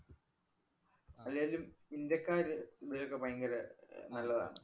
അല്ലേലും ഇന്ത്യക്കാര് ഇതിനൊക്കെ ഭയങ്കര അഹ് നല്ലതാണ്‌.